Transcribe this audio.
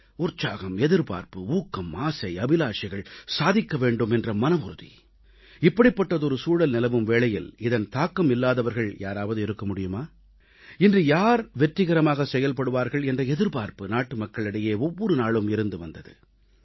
உற்சாகம் எதிர்பார்ப்பு ஊக்கம் ஆசை அபிலாஷைகள் சாதிக்க வேண்டும் என்ற மனவுறுதி இப்படிப்பட்டதொரு சூழல் நிலவும் வேளையில் இதன் தாக்கம் இல்லாதவர்கள் யாராவது இருக்க முடியுமா இன்று யார் வெற்றிகரமாகச் செயல்படுவார்கள் என்ற எதிர்பார்ப்பு நாட்டுமக்களிடையே ஒவ்வொரு நாளும் இருந்து வந்தது